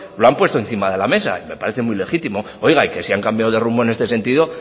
lo han puesto encima de la mesa y me parece muy legitimo oiga y que si han cambiado de rumbo en este sentido